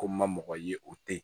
Ko n ma mɔgɔ ye o tɛ ye